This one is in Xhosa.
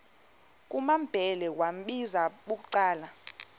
kumambhele wambizela bucala